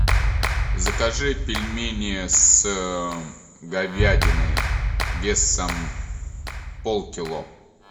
закажи пельмени с говядиной весом полкило